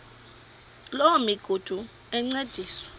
loo migudu encediswa